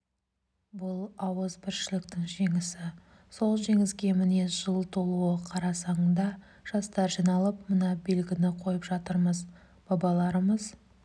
бұл ауызбіршіліктің жеңісі сол жеңіске міне жыл толуы қарсаңында жастар жиналып мына белгіні қойып жатырмыз бабаларымыз